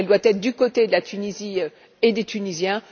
Elle doit être du côté de la Tunisie et des Tunisiens.